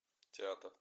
театр